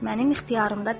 Mənim ixtiyarımda deyil.